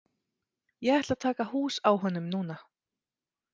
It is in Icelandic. Ég ætla að taka hús á honum núna.